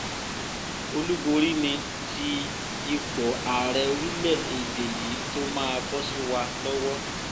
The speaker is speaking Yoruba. olúborí ni ti ipò ààrẹ orílẹ̀‐èdè yìí tó máa bọ́ sí wa lọ́wọ́